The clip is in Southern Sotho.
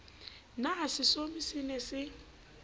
na setsomi se ne se